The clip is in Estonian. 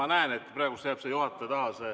Ma näen, et praegu jääb see juhataja taha.